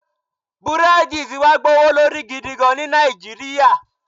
Búrèèdì ti wá gbówó lórí gidigan ní Nàìjíríyà